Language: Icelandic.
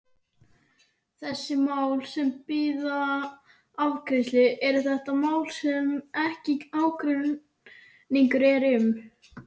Þessi mál sem bíða afgreiðslu, eru þetta mál sem mikill ágreiningur er um?